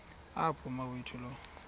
apho umawethu lo